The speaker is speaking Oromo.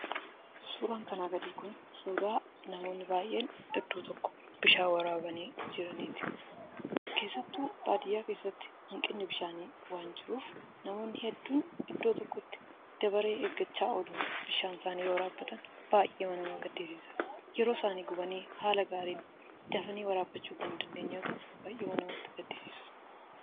Suuraan kanaa gadii kun suuraa namoonni baay'een iddoo tokkoo bishaan waraabaa jiraniiti. Keessattuu baadiyaa keessatti hanqinni bishaanii waan jiruuf, namoonni hedduun iddoo tokkotti dabaree eeggachaa oolu. Bishaan isaanii waraabbatanii, baay'eema nama gaddisiisa! Yeroo isaanii haala gaariin dafanii waraabbachuu waan hin dandeenyeef, baay'ee nama gaddisiisa!